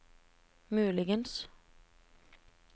muligens